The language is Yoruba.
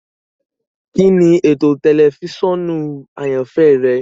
Kini eto tẹlifisiọnu ayanfẹ rẹ?